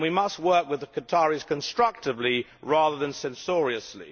We must work with the Qataris constructively rather than censoriously.